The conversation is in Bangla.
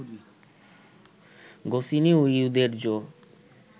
গোসিনি ও ইউদেরজো